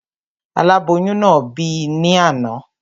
Aláboyún náà bì ní àná